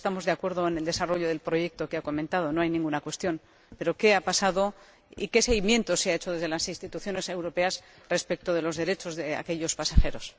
Porque estamos de acuerdo en el desarrollo del proyecto que ha comentado —no hay ninguna cuestión al respecto—, pero ¿qué ha pasado y qué seguimiento se ha hecho desde las instituciones europeas respecto de los derechos de los pasajeros?